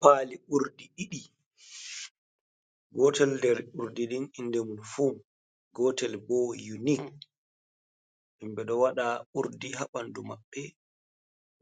Pali ɗiɗii gotel nder urdi nden inde mum fu gotel bo unic himɓe ɗo waɗa urdi ha ɓandu maɓɓe